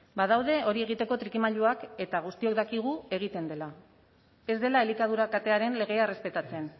badaude hori egiteko trikimailuak eta guztiok dakigu egiten dela ez dela elikadura katearen legea errespetatzen